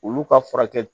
Olu ka furakɛ